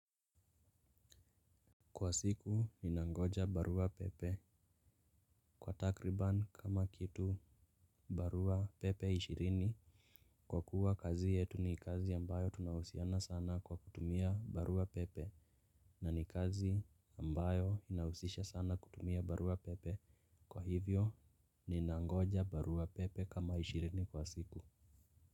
Kwa siku ninangoja barua pepe kwa takriban kama kitu barua pepe ishirini. Kwa kuwa kazi yetu ni kazi ambayo tunahusiana sana kwa kutumia barua pepe na ni kazi ambayo inahusisha sana kutumia barua pepe kwa hivyo ni nangoja barua pepe kama ishirini kwa siku.